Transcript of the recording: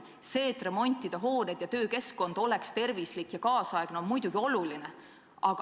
See, et remonditaks hooneid ja töökeskkond oleks tervislik ja kaasaegne, on muidugi ka oluline.